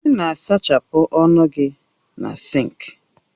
Ị na-asachapụ ọnụ gị na sinki